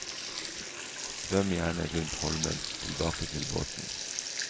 Svøm gjerne rundt holmen tilbake til båten.